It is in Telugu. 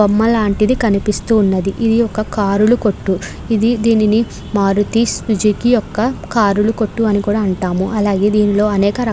బొమ్మ లాంటిది కనిపిస్తుంది ఇది ఒక కార్ లా కొట్టు. ఇది దీనిని మారుతి సుజుకీ కార్ లా కొట్టు అని కూడా అంటారు అలాగే దీనిలో అనేక రకాల --